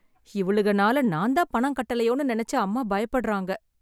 இவளுகனால நான் தான் பணம் கட்டலையோன்னு நினைச்சு அம்மா பயப்படறாங்க.